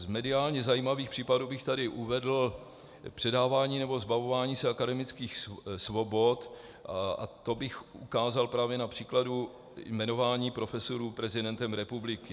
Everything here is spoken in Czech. Z mediálně zajímavých případů bych tady uvedl předávání nebo zbavování se akademických svobod a to bych ukázal právě na příkladu jmenování profesorů prezidentem republiky.